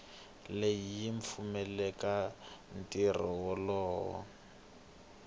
leyi yi pfumelelaka ntirho wolowo